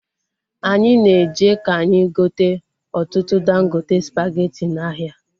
Anyị na-eje ka anyị gote ọtụtụ dangote spageti n'ahịa